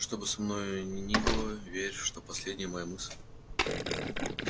что бы со мною ни было верь что последняя моя мысль